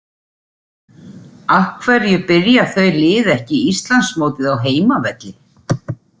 Af hverju byrja þau lið ekki Íslandsmótið á heimavelli?